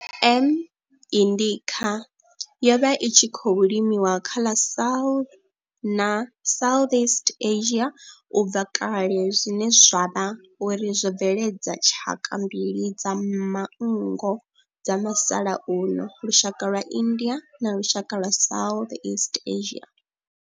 M. indica yo vha i tshi khou limiwa kha ḽa South na Southeast Asia ubva kale zwine zwa vha uri zwo bveledza tshaka mbili dza manngo dza musalauno, lushaka lwa India na lushaka lwa Southeast Asia.